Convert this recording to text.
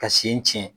Ka sen cɛn